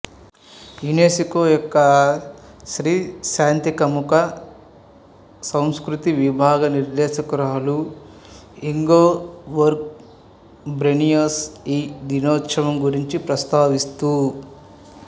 UNESCO యొక్క స్త్రీ శాంతికాముక సంస్కృతి విభాగ నిర్దేశకురాలు ఇంగెబోర్గ్ బ్రెయ్నెస్ ఈ దినోత్సవం గురించి ప్రస్తావిస్తూ